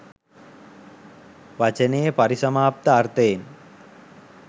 වචනයේ පරිසමාප්ත අර්ථයෙන්